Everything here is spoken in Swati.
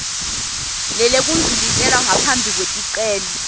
lelekudluliselwa phambili kweticelo